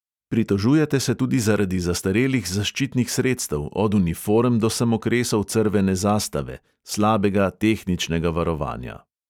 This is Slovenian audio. Pritožujete se tudi zaradi zastarelih zaščitnih sredstev, od uniform do samokresov crvene zastave, slabega tehničnega varovanja.